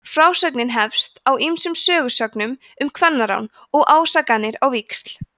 frásögnin hefst á ýmsum sögusögnum um kvennarán og ásakanir á víxl